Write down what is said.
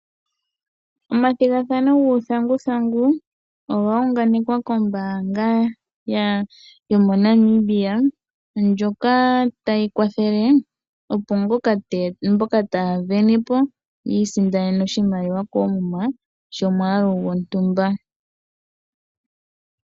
Omathigathano guuthanguthangu oga yunganekwa kombaanga yomo Namibia, ndjoka tayi kwathele opo mboka taya vene po yiisindanene oshimaliwa koomuma shomwaalu gontumba.